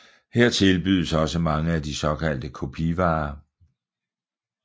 Her tilbydes også mange af de såkaldte kopivarer